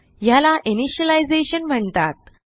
यास इनिशियलायझेशन म्हणतात